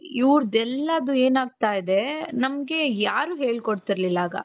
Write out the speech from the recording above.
ಇವರದ್ದು ಎಲ್ಲಾರ್ದು ಏನಾಗ್ತಾ ಇದೆ ನಮ್ಗೆ ಯಾರೂ ಹೇಳ್ಕೊಡ್ತಿರ್ಲಿಲ್ಲ ಆಗ.